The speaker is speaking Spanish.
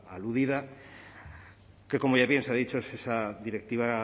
aludida que como bien ya se ha dicho es esa directiva